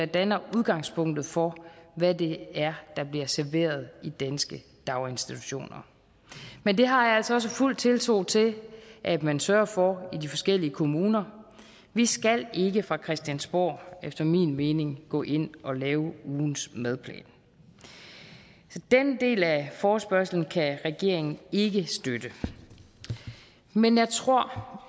danner udgangspunktet for hvad det er der bliver serveret i danske daginstitutioner men det har jeg altså også fuld tiltro til at man sørger for i de forskellige kommuner vi skal ikke fra christiansborgs efter min mening gå ind og lave ugens madplan så den del af forespørgslen kan regeringen ikke støtte men jeg tror